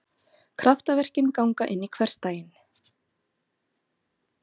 Kraftaverkin ganga inn í hversdaginn.